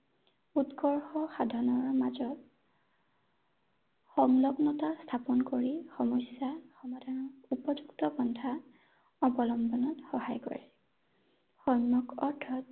উৎকৰ্ষ সাধনৰ মাজত সংলগ্নতা স্থাপন কৰি সমস্যা সমাধানৰ উপযুক্ত পন্থা অৱলম্বনত সহায় কৰে ৷ অৰ্থাৎ